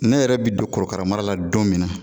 Ne yɛrɛ bɛ don korokara mara la don min na